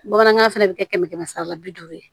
Bamanankan fɛnɛ bi kɛ kɛmɛ kɛmɛ sara la bi duuru ye